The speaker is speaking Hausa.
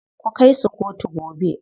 Ku kai su kotu gobe.